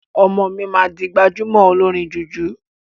Ọmọ mi maa di gbajúmọ̀ olórin jùjú.